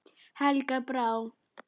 Helga Brá.